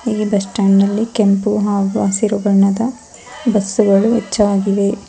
ಇಲ್ಲಿ bus stand ನಲ್ಲಿ ಕೆಂಪು ಹಾಗೂ ಹಸಿರು ಬಣ್ಣದ ಬಸ್ಸು ಗಳು ಹೆಚ್ಚಾಗಿವೆ.